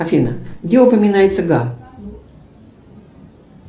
афина где упоминается га